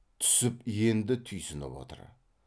түсіп енді түйсініп отыр